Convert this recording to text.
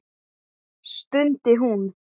stundi hún.